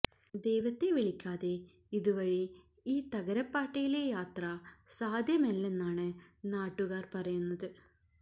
ദൈവത്തെ വിളിക്കാതെ ഇതുവഴി ഈ തകരപ്പാട്ടയിലെ യാത്ര സാധ്യമല്ലെന്നാണ് നാട്ടുകാർ പറയുന്നത്